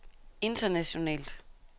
internationalt